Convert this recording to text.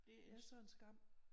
Det er sådan en skam